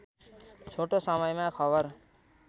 छोटो समयमा खबर